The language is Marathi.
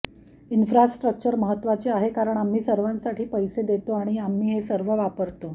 इन्फ्रास्ट्रक्चर महत्वाचे आहे कारण आम्ही सर्वांसाठी पैसे देतो आणि आम्ही हे सर्व वापरतो